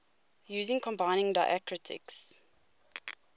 using combining diacritics